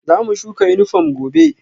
Zamu shuka yunifom gobe